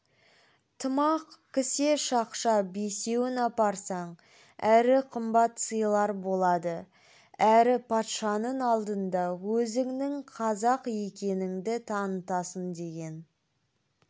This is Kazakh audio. тымақ кісе шақша бесеуін апарсаң әрі қымбат сыйлар болады әрі патшаның алдында өзіңнің қазақ екеніңді танытасың деген